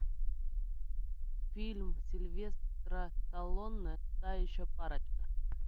фильм сильвестра сталлоне та еще парочка